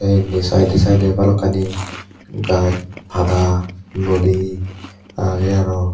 indi side side a bhalokkani gaj pada ludi age aro.